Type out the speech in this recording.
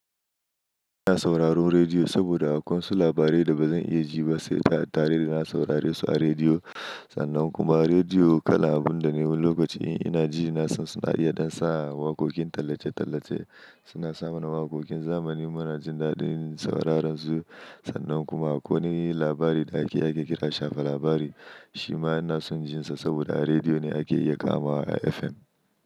Ina sauraron rediyo saboda akwai wasu labarai da ba zan iya ji ba sai tare da na saurare su a rediyo. Sannan kuma rediyo kala'a abun da na yiwo lokacin ina ji na so suna iya dan sa'a. Waƙoƙin tallace-tallace suna samarwa waƙoƙin zamani muna jin daɗin sauraron su. Sannan kuma ko wane labari da ake kira shafa labari shima ina son jin sa saboda rediyo ne ake iya kamawa a FM.